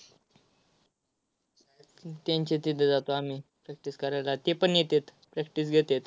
त्यांच्या तिथं जातो आम्ही practice करायला. तेपण येतात, practice घेतात.